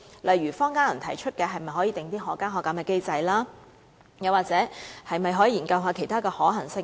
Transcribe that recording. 例如坊間有人提出可否訂定可加可減機制，又或是否可以研究其他可行性。